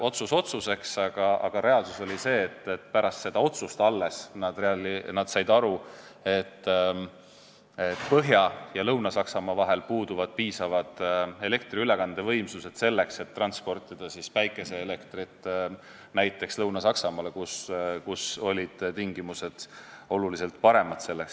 Otsus otsuseks, aga reaalsus oli see, et alles pärast seda otsust nad said aru, et Põhja- ja Lõuna-Saksamaa vahel puuduvad piisavad elektriülekandevõimsused, selleks et transportida näiteks tuuleenergiat Lõuna-Saksamaale, kus on selle järele oluliselt suurem vajadus.